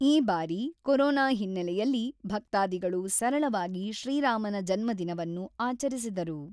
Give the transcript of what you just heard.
ಈ ಬಾರಿ ಕೊರೋನಾ ಹಿನ್ನೆಲೆಯಲ್ಲಿ ಭಕ್ತಾಧಿಗಳು ಸರಳವಾಗಿ ಶ್ರೀ ರಾಮನ ಜನ್ಮದಿನವನ್ನು ಆಚರಿಸಿದರು.